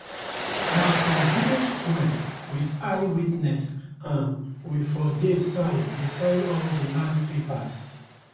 nah for village sqare wit eye witness um we for dey sign dey sign all de land papers